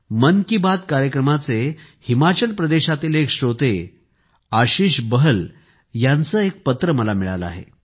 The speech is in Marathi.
मन की बात कार्यक्रमाचे हिमाचल प्रदेशातील एक श्रोते आशिष बहल यांचे एक पत्र मला मिळाले आहे